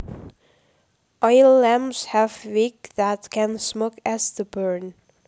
Oil lamps have wicks that can smoke as the burn